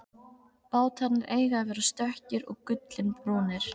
Bátarnir eiga að vera stökkir og gullinbrúnir.